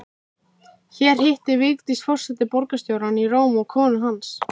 Hér hittir Vigdís forseti borgarstjórann í Róm og konu hans